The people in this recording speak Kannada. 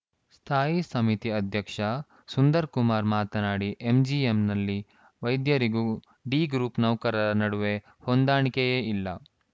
ಸ್ಥಾಯಿ ಸಮಿತಿ ಅಧ್ಯಕ್ಷ ಸುಂದರ್‌ಕುಮಾರ್‌ ಮಾತನಾಡಿ ಎಂಜಿಎಂನಲ್ಲಿ ವೈದ್ಯರಿಗೂ ಡಿ ಗ್ರೂಪ್‌ ನೌಕರರ ನಡುವೆ ಹೊಂದಾಣಿಕೆಯೇ ಇಲ್ಲ